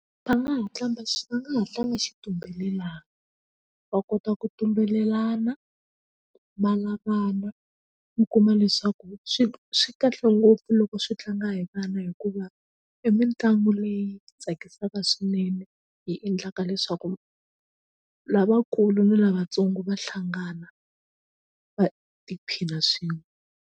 Va nga ha tlanga va nga ha tlanga xitumbelelani va kota ku tumbelelana ma lavana mi kuma leswaku swi swi kahle ngopfu loko swi tlanga hi vana hikuva i mitlangu leyi tsakisaka swinene hi endlaka leswaku lavakulu ni lavatsongo va hlangana va tiphina swin'we.